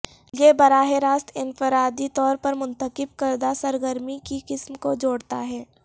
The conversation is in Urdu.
یہ براہ راست انفرادی طور پر منتخب کردہ سرگرمی کی قسم کو جوڑتا ہے